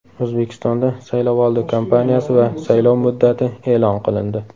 O‘zbekistonda saylovoldi kampaniyasi va saylov muddati e’lon qilindi.